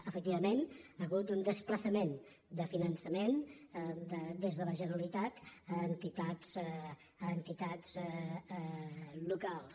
efectivament hi ha hagut un desplaçament de finan·çament des de la generalitat fins a entitats locals